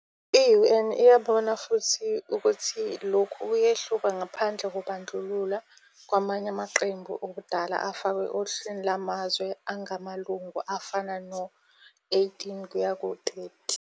I- UN iyabona futhi ukuthi lokhu kuyehluka ngaphandle kokubandlulula kwamanye amaqembu wobudala afakwe ohlwini lwamazwe angamalungu afana no-18-30.